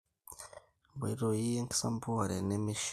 Nkoitoi enkisampuare nemeishiaa.